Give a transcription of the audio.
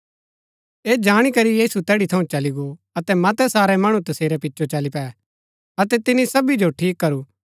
ऐह जाणी करी यीशु तैड़ी थऊँ चली गो अतै मतै सारै मणु तसेरै पिचो चली पै अतै तिनी सबी जो ठीक करू